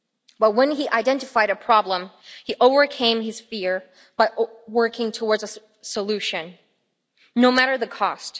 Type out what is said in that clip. But when he identified a problem, he overcame his fear by working towards a solution, no matter what the cost.